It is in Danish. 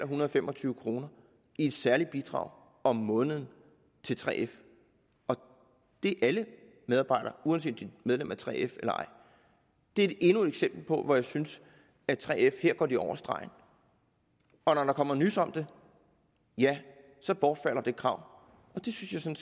hundrede og fem og tyve kroner i særligt bidrag om måneden til 3f og det er alle medarbejdere uanset medlem af 3f eller ej det er endnu et eksempel hvor jeg synes at 3f går over stregen og når der kommer nys om det bortfalder det krav det synes jeg